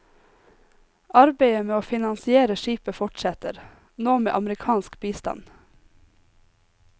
Arbeidet med å finansiere skipet fortsetter, nå med amerikansk bistand.